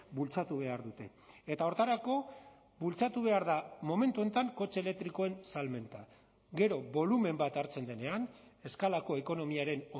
bultzatu behar dute eta horretarako bultzatu behar da momentu honetan kotxe elektrikoen salmenta gero bolumen bat hartzen denean eskalako ekonomiaren